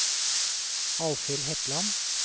Alvhild Hetland